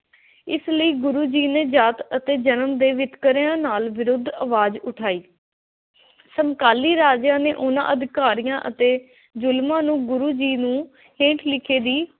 ਇਸ ਲਈ ਗੁਰੂ ਜੀ ਨੇ ਜਾਤ ਅਤੇ ਜਨਮ ਦੇ ਵਿਤਕਰਿਆਂ ਨਾਲ ਵਿਰੁੱਧ ਅਵਾਜ਼ ਉਠਾਈ। ਸਮਕਾਲੀ ਰਾਜਿਆਂ ਨੇ ਉਨ੍ਹਾਂ ਅਧਿਕਾਰੀਆਂ ਅਤੇ ਜ਼ੁਲਮਾਂ ਨੂੰ ਗੁਰੂ ਜੀ ਨੂੰ ਹੇਠ ਲਿਖੇ ਦੀ